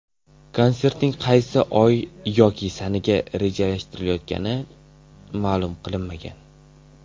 Konsertning qaysi oy yoki sanaga rejalashtirilayotgani ma’lum qilinmagan.